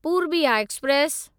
Purbiya express